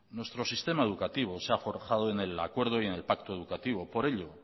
nuestro sistema educativo se ha forjado en el acuerdo y en el pacto educativo por ello